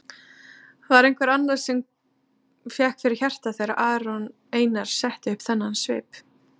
Var einhver annar sem fékk fyrir hjartað þegar Aron Einar setti upp þennan svip?